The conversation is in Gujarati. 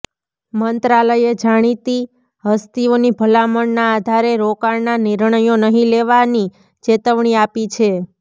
મંત્રાલયે જાણીતી હસ્તીઓની ભલામણના આધારે રોકાણના નિર્ણયો નહીં લેવાની ચેતવણી આપી છે